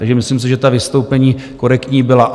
Takže myslím si, že ta vystoupení korektní byla.